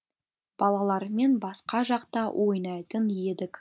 балалармен басқа жақта ойнайтын едік